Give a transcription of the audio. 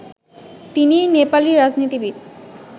তিনি নেপালি রাজনীতিবিদ